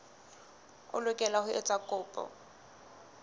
o lokela ho etsa kopo